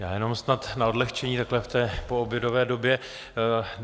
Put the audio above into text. Já jenom snad na odlehčení takhle v té poobědové době.